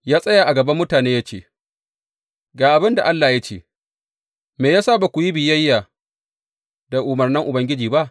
Ya tsaya a gaban mutane ya ce, Ga abin da Allah ya ce, Me ya sa ba ku yi biyayya da umarnan Ubangiji ba?